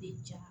ja